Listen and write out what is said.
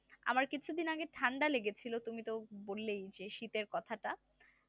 আমার কিছুদিন আগে ঠান্ডা লেগে ছিল তুমি তো বললেই যে শীতের কথাটা